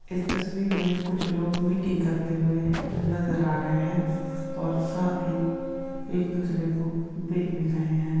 इस तस्वीर में कुछ लोग मीटिंग करते हुए नजर आ रहे हैं| और साथ ही एक दूसरे को देख भी रहे हैं।